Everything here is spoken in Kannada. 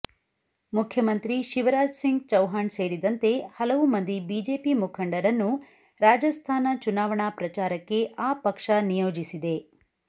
ಮುಖ್ಯಮಂತ್ರಿ ಶಿವರಾಜ್ ಸಿಂಗ್ ಚೌಹಾಣ್ ಸೇರಿದಂತೆ ಹಲವು ಮಂದಿ ಬಿಜೆಪಿ ಮುಖಂಡರನ್ನು ರಾಜಸ್ಥಾನ ಚುನಾವಣಾ ಪ್ರಚಾರಕ್ಕೆ ಆ ಪಕ್ಷ ನಿಯೋಜಿಸಿದೆ